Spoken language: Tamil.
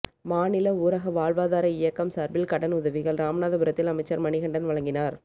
மாநில ஊரக வாழ்வாதார இயக்கம் சார்பில் கடன் உதவிகள் ராமநாதபுரத்தில் அமைச்சர் மணிகண்டன் வழங்கினார்